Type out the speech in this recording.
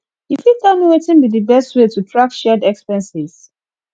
you fit tell me wetin be di best way to track shared expenses